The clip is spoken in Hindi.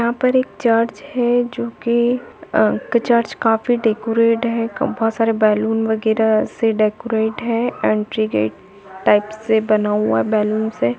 यहाँ पर एक चर्च है जो कि अ चर्च काफी डेकोरेट है बहुत सारे बैलून वगैरा से डेकोरेट है एंट्री गेट टाइप से बना हुआ बैलून से।